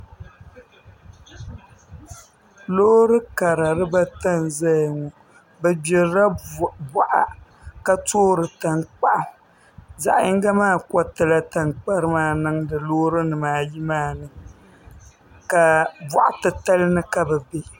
Loori kara dibata n ʒɛya ŋo bi gbirila boɣa ka toori tankpaɣu zaɣ yinga maa koritila tankpari maa niŋdi Loori nimaayi maa ni ka boɣa titali ni ka bi bɛ